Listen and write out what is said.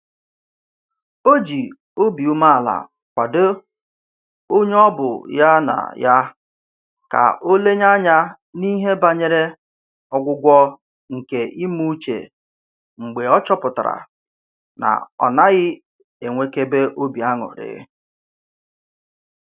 O ji obi umeala kwadoo onye ọ bụ ya na ya ka o lenye anya n'ihe banyere ọgwụgwọ nke ime uche mgbe ọ chọpụtara na ọ naghị enwekebe obi aṅụrị